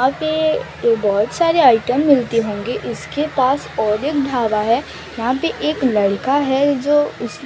यहां पे बहुत सारे आइटम मिलते होंगे इसके पास और एक ढाबा है यहां पे एक लड़का है जो इस